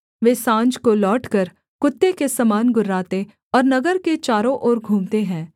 वे साँझ को लौटकर कुत्ते के समान गुर्राते और नगर के चारों ओर घूमते है